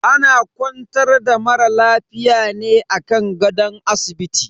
Ana kwantar da mara lafiya ne a kan gadon asibiti.